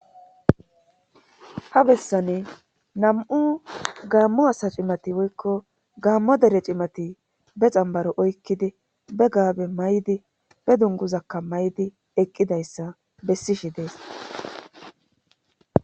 ha bessani nam7u gaammu asa cimati woykko gaammo dere cimati be xambaro oykkidi be gaabe may7di be dunguzakka may7di eqqidayssa bessishi dees